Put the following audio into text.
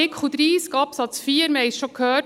Wir haben es schon gehört: